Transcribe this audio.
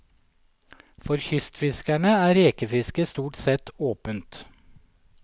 For kystfiskerne er rekefisket stort sett åpent.